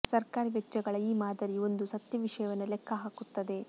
ಸರ್ಕಾರಿ ವೆಚ್ಚಗಳ ಈ ಮಾದರಿಯು ಒಂದು ಸತ್ಯ ವಿಷಯವನ್ನು ಲೆಕ್ಕ ಹಾಕುತ್ತದೆ